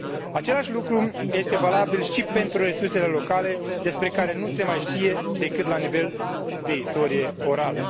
Același lucru este valabil și pentru resursele locale despre care nu se mai știe decât la nivel de istorie orală.